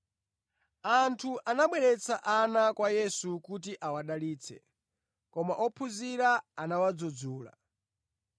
Anthu anabweretsa ana kwa Yesu kuti awadalitse, koma ophunzira anawadzudzula.